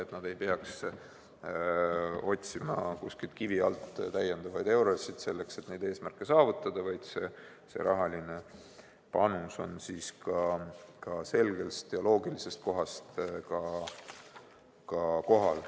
Et nad ei peaks otsima kuskilt kivi alt täiendavaid eurosid, selleks et neid eesmärke saavutada, vaid see rahaline panus tuleks ka selgest ja loogilisest kohast.